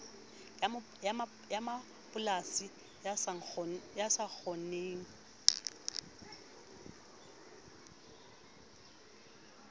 ya mapolasi e sa kgoneng